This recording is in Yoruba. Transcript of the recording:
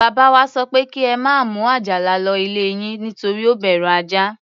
Bàbá wa sọ pé kí ẹ má mú Àjàlà lọ ilé yín, nítorí ó bẹ̀rù ajá.